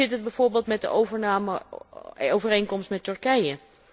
Hoe zit het bijvoorbeeld met de overnameovereenkomst met Turkije?